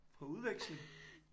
På udveksling